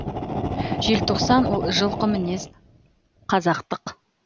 желтоқсан ол жылқы мінез қазақтық